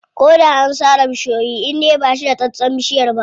Ko da an sare bishiyoyi indai baʼa cire tsatson bishiyar ba.